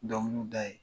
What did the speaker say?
Dɔnkiliw da ye